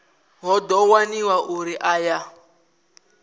hu ḓo waniwa uri aya